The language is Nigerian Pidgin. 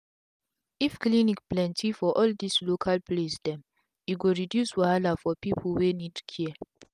if clinic plenti for all dis local place dem e go reduce wahala for pipu wey need care